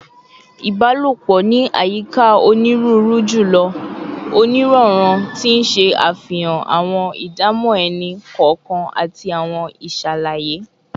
Ibalopo ni ayika oniruuru julọ. Oniranran, ti n ṣe afihan awọn idamọ ẹni kọọkan ati awọn iṣalaye